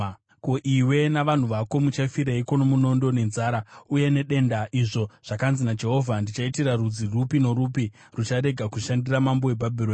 Ko, iwe navanhu vako muchafireiko nomunondo, nenzara uye nedenda izvo zvakanzi naJehovha ndichaitira rudzi rupi norupi rucharega kushandira mambo weBhabhironi?